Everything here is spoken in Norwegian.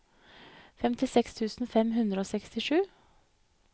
femtiseks tusen fem hundre og sekstisju